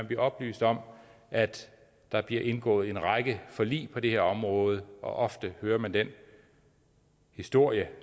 blive oplyst om at der bliver indgået en række forlig på det her område og ofte hører man den historie